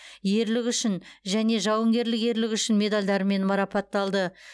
ерлігі үшін және жауынгерлік ерлігі үшін медальдарымен марапатталды